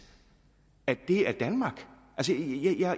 kan det er danmark